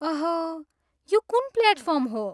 ओह, यो कुन प्लेटफार्म हो?